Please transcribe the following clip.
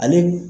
Ale